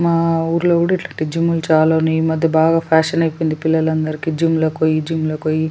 మా ఊర్లో కూడా ఇట్లాంటి జిమ్ లు చాలా ఉన్నాయి ఈ మధ్య బాగా ఫ్యాషన్ అయిపోయింది పిల్లలకి జిమ్ లకి పోయి జిమ్ లకి పోయి--